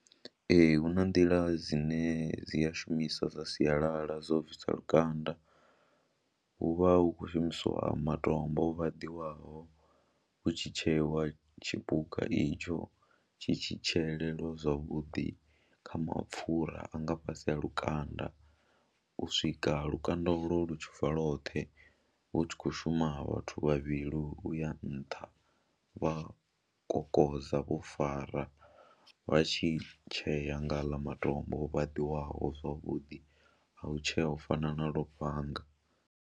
Ee, hu na nḓila dzine dzi a shumiswa dza sialala dzo bvisa lukanda, hu vha hu khou shumisiwa matombo o vhaḓiwaho hu tshi tsheiwa tshipuka itsho tshi tshi tsheeleliwa zwavhuḓi kha mapfhura a nga fhasi a lukanda u swika lukanda ulwo lu tshi bva lwoṱhe, hu tshi khou shuma vhathu vhavhili u ya nṱha vha kokodza vho fara vha tshi tshea nga haaḽa matombo o vhaḓiwaho zwavhuḓi a u tshea u fana na lufhanga.